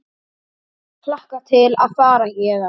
Hlakka til að fara héðan.